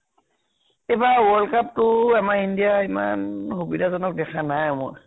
এইবাৰ world cup টো আমাৰ india ইমান সুবিধাজনক দেখা নাই অ মই